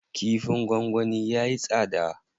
Kifin gwangwani yayi tsada.